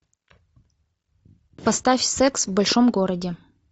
поставь секс в большом городе